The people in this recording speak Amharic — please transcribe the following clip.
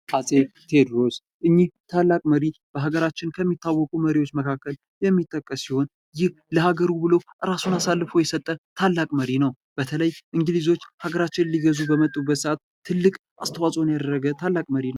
አጼ ቴዎድሮስ እኒህ ታላቅ መሪ በሀገራችን ከሚታወቁ መሪዎች መካከል የሚጠቀስ ሲሆን ይህ ለሀገሩ ብሎ ራሱን አሳልፎ የሰጠ ታላቅ መሪ ነው። በተለይ እንግሊዞች ሀገራችንን ሊገዙ በመጡበት ሰአት ትልቅ አስተዋጽኦን ያደረገ ትልቅ መሪ ነው።